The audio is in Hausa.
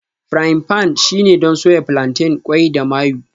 Frying pans shine don soya plantain, qwai da mayu